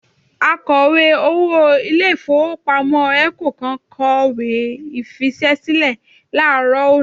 Akọ̀wé-owó ilé-ìfowópamọ́ ECO kan kọ̀wé fiṣẹ́ sílẹ̀ láàárọ̀ òní